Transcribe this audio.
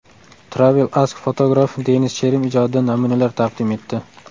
Travel Ask fotograf Denis Cherim ijodidan namunalar taqdim etdi.